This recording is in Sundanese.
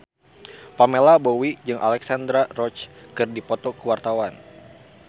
Pamela Bowie jeung Alexandra Roach keur dipoto ku wartawan